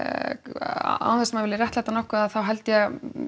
án þess að maður vilji réttlæta nokkuð að þá held ég að